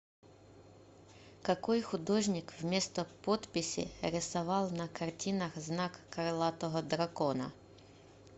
какой художник вместо подписи рисовал на картинах знак крылатого дракона